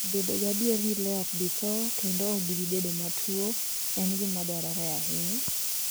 Bedo gadier ni le ok bi tho kendo ok gibi bedo matuwo en gima dwarore ahinya.